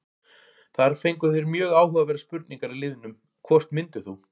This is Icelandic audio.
Þar fengu þeir mjög áhugaverðar spurningar í liðnum: Hvort myndir þú?